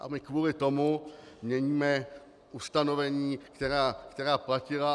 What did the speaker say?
A my kvůli tomu měníme ustanovení, která platila.